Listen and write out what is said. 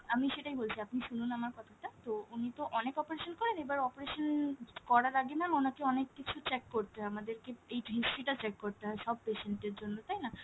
আমি সেটাই বলছি আপনি শুনুন আমার কথাটা, তো উনি তো অনেক operation করেন এবার operation করার আগে ma'am ওনাকে অনেক কিছু check করতে হয় আমাদেরকে এই history টা check করতে হয় সব patient এর জন্য তাইনা?